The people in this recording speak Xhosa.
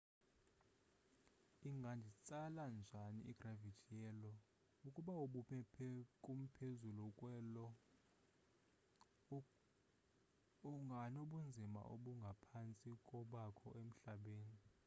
inganditsala njani igravithi ye lo ukuba ubume kumphezulu kwe-io unganobunzima obungaphantsi kobakho emhlabeni